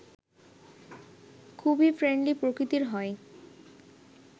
খুবই ফ্রেন্ডলি প্রকৃতির হয়